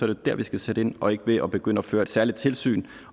det der vi skal sætte ind og ikke ved at begynde at føre et særligt tilsyn